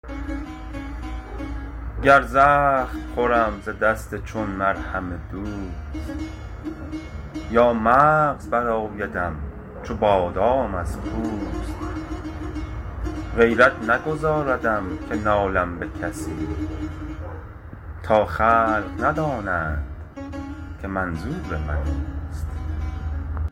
گر زخم خورم ز دست چون مرهم دوست یا مغز برآیدم چو بادام از پوست غیرت نگذاردم که نالم به کسی تا خلق ندانند که منظور من اوست